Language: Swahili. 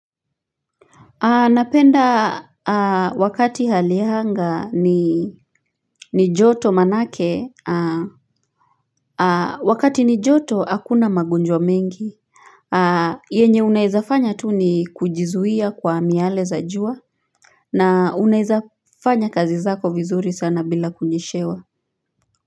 Napenda wakati hali ya anga ni joto maanake wakati ni joto hakuna magonjwa mengi yenye unaweza fanya tu ni kujizuia kwa amiale za jua na unaweza fanya kazi zako vizuri sana bila kunyeshewa.